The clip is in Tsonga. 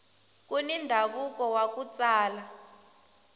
kuni ndhavuko waku tsala